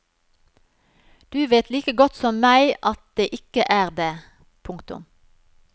Du vet like godt som meg at det ikke er det. punktum